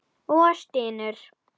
Og stynur.